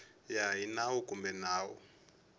ya hi nawu kumbe nawu